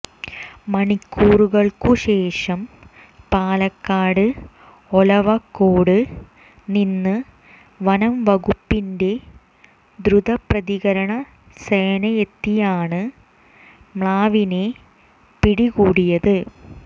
മണിക്കൂറുകള്ക്കുശേഷം പാലക്കാട് ഒലവക്കോട് നിന്ന് വനംവകുപ്പിന്റെ ദ്രുതപ്രതികരണ സേനയെത്തിയാണ് മ്ലാവിനെ പിടികൂടിയത്